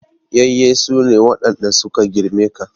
Yayye su ne waɗanda su ka girme ka.